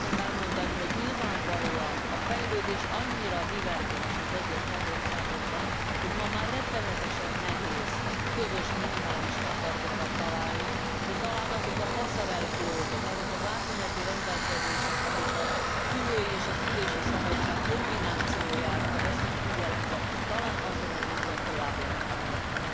Azt szeretném elmondani, hogy nyilvánvalóan a fejlődés annyira divergens az egyes tagországokban, hogy ma már rettenetesen nehéz közös minimális standardokat találni, de talán azok a passerelle clause ok, azok az átmeneti rendelkezések, amik a szülői és szülési szabadság kombinációját veszik figyelembe, talán azon az úton tovább lehetne menni.